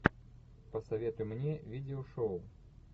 посоветуй мне видео шоу